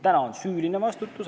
Täna on meil süüline vastutus.